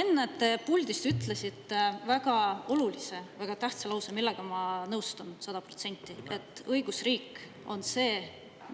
Enne te puldist ütlesite väga olulise, väga tähtsa lause, millega ma nõustun sada protsenti, et õigusriik on see,